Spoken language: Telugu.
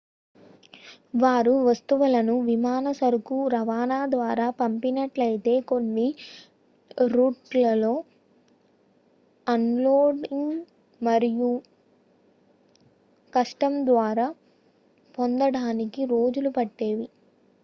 వారు వస్తువులను విమాన సరుకు రవాణా ద్వారా పంపినట్లయితే కొన్ని రూట్లలో అన్ లోడింగ్ మరియు కస్టమ్స్ ద్వారా పొందడానికి రోజులు పట్టేవి